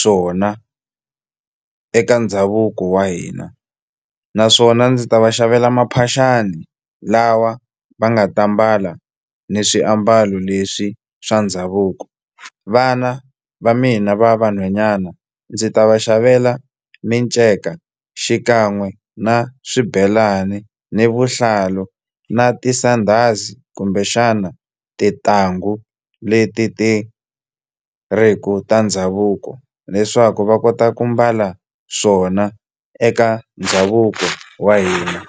swona eka ndhavuko wa hina naswona ndzi ta va xavela maphaxani lawa va nga ta mbala ni swiambalo leswi swa ndhavuko vana va mina va vanhwanyana ndzi ta va xavela minceka xikan'we na swibelani ni vuhlalu na tisandhazi kumbexana tintangu leti ti ri ku ta ndhavuko leswaku va kota ku mbala swona eka ndhavuko wa hina.